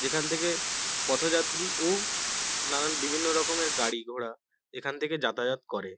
যেখান থেকে পথযাত্রী ও নানান বিভিন্ন রকমের গাড়ি-ঘোড়া এখান থেকে যাতায়াত করে।